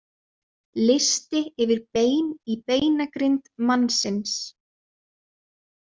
Listi yfir bein í beinagrind mannsins.